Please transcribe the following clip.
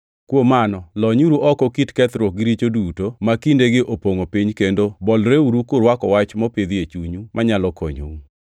Kuom mano, lonyuru oko kit kethruok gi richo duto, ma kindegi opongʼo piny kendo bolreuru kurwako wach mopidhi e chunyu, manyalo konyou.